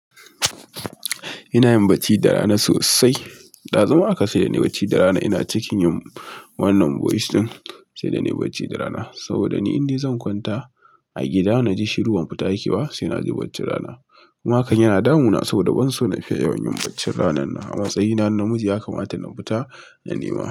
Ina yin bacci da rana sosai. Ɗazu ma haka saida nai bacci da rana ina cikin yin wannan voice ɗin, saida ni bacci da rana. Saboda ni indai zan kwanta, a gida na ji shiru ban fita yake ba, sai na ji bacci rana. Kuma hakan yana damuna, saboda ban so na fiya yawan yin bacci ranan na. A matsayina na namiji ya kamata na fita, na nema.